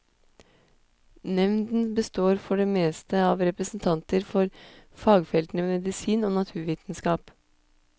Nevnden består for det meste av representanter for fagfeltene medisin og naturvitenskap.